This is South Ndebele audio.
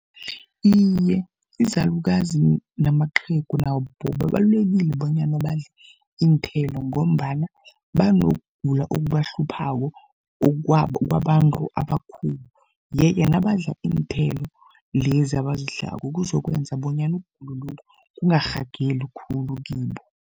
Iye, izalukazi namaqhegu nabo babalulekile bonyana badle iinthelo, ngombana banokugula okubahluphako kwabantu abakhulu. Yeke nabadla iinthelo lezi abazidlako kuzokwenza bonyana ukugulokhu kungarhageli khulu kibo.